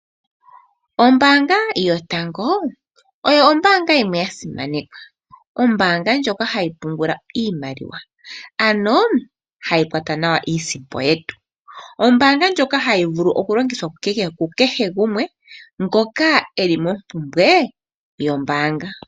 Ombaanga yotango oyo ombaanga yimwe yasimanekwa. Ombaanga ndjoka hayi pungula iimaliwa, ano hayi kwata nawa iisimpo yetu. Ombaanga ndjoka hayi vulu okulongithwa ku kehe gumwe ngoka eli mompumbwe yombaanga.